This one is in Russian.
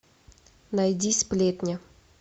найди сплетня